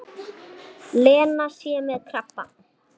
Lena sé með krabba.